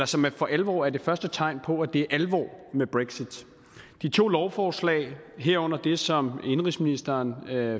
som for alvor er det første tegn på at det er alvor med brexit de to lovforslag herunder det som indenrigsministeren